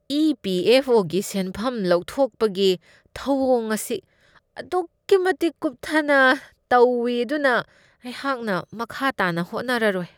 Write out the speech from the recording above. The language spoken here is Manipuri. ꯏ.ꯄꯤ.ꯑꯦꯐ.ꯑꯣ.ꯒꯤ ꯁꯦꯟꯐꯝ ꯂꯧꯊꯣꯛꯄꯒꯤ ꯊꯧꯋꯣꯡ ꯑꯁꯤ ꯑꯗꯨꯛꯀꯤ ꯃꯇꯤꯛ ꯀꯨꯞꯊꯅ ꯇꯧꯢ ꯑꯗꯨꯅ ꯑꯩꯍꯥꯛꯅ ꯃꯈꯥ ꯇꯥꯅ ꯍꯣꯠꯅꯔꯔꯣꯏ ꯫